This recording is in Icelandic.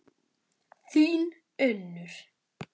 Þín, Unnur.